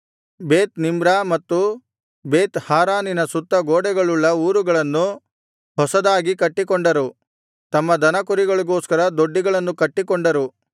ಬೇತ್‌ನಿಮ್ರಾ ಮತ್ತು ಬೇತ್ ಹಾರಾನಿನ ಸುತ್ತ ಗೋಡೆಗಳುಳ್ಳ ಊರುಗಳನ್ನು ಹೊಸದಾಗಿ ಕಟ್ಟಿಕೊಂಡರು ತಮ್ಮ ದನಕುರಿಗಳಿಗೋಸ್ಕರ ದೊಡ್ಡಿಗಳನ್ನು ಕಟ್ಟಿಕೊಂಡರು